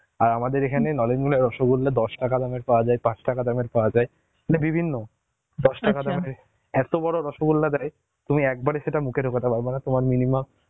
আমাদের এখানে নলেন গুড়া রসগোল্লা দশ টাকা দামের পাওয়া যায় পাঁচ টাকা দামের পাওয়া যায়, মানে বিভিন্ন রসগোল্লা দেয় তুমি একবারে সেটা মুখে ঢুকাতে পারবে না তোমার minimum